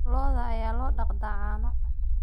Lo'da ayaa loo dhaqdaa caano.